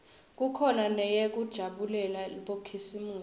kukhona neyekujabulela bokhisimusi